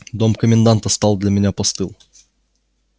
дом коменданта стал для меня постыл